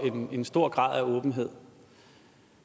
en stor grad af åbenhed